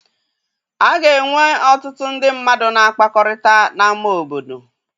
A ga-enwe ọtụtụ ndị mmadụ na-akpakọrịta n'ama obodo.